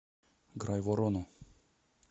грайворону